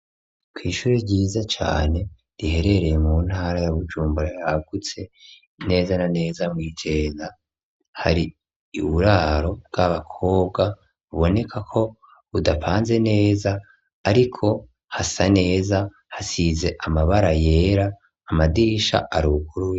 Kw'ishuri ryiza cane riherereye mu ntara ya bujumbura yagutse inezana neza mw'iceza hari i buraro bw'abakobwa buboneka ko budapanze neza, ariko hasa neza hasize amabara yera amadisha aruguriye.